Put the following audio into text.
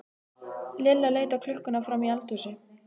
Lilla leit á klukkuna frammi í eldhúsi.